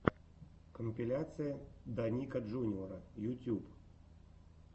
компиляция даника джуниора ютьюб